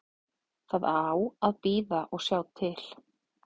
Það á að bíða og sjá til.